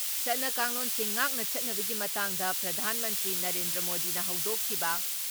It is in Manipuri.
ꯆꯠꯅ ꯀꯥꯡꯂꯣꯟꯁꯤꯡ ꯉꯥꯛꯅ ꯆꯠꯅꯕꯒꯤ ꯃꯇꯥꯡꯗ ꯄ꯭ꯔꯙꯥꯟ ꯃꯟꯇ꯭ꯔꯤ ꯅꯔꯦꯟꯗ꯭ꯔ ꯃꯣꯗꯤꯅ ꯍꯧꯗꯣꯛꯈꯤꯕ